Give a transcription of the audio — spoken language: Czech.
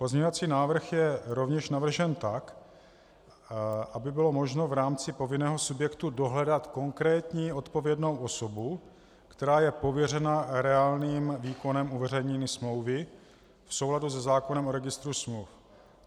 Pozměňovací návrh je rovněž navržen tak, aby bylo možno v rámci povinného subjektu dohledat konkrétní odpovědnou osobu, která je pověřena reálným výkonem uveřejnění smlouvy v souladu se zákonem o registru smluv.